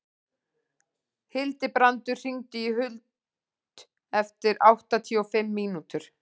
Hildibrandur, hringdu í Huld eftir áttatíu og fimm mínútur.